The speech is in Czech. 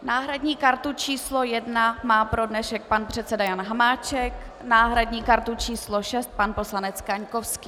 Náhradní kartu číslo 1 má pro dnešek pan předseda Jan Hamáček, náhradní kartu číslo 6 pan poslanec Kaňkovský.